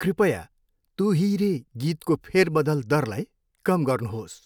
कृपया 'तु ही रे' गीतको फेरबदल दरलाई कम गर्नुहोस्।